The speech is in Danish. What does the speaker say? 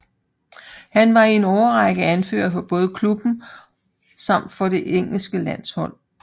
Han var i en årrække anfører for både klubben samt for det engelske landshold